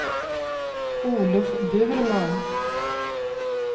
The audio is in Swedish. Olof Burman